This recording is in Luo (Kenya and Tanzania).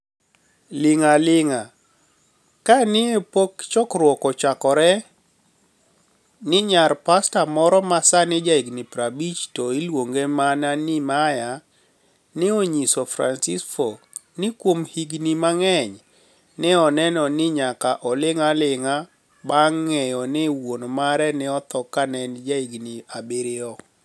Linig' alinig'a ' Ka ni e pok chokruok ochakore, niyar pasta moro ma sanii jahiginii 50 to iluonige mania nii Maya, ni e oniyiso Franiceinifo nii kuom hignii manig'eniy ni e oni eno nii niyaka to olinig' alinig'a banig ' nig'eyo nii wuoni mare ni e otho ka eni jahiginii abiriyo.